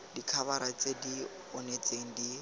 dikhabara tse di onetseng di